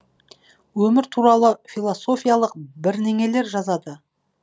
өмір туралы философиялық бірнеңелер жазады